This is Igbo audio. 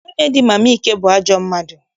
Nwunye di Mama Ike bụ ajọ mmadụ.